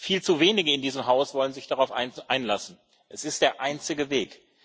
Viel zu wenige in diesem Haus wollen sich darauf einlassen es ist der einzige Weg.